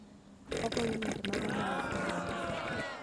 Ogoyo yore mag ohala e piny mangima.